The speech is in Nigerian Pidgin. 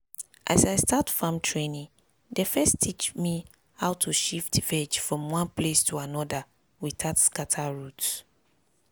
as i start farm training dem first teach me how to shift veg from one place to another without scatter root.